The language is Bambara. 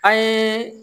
An ye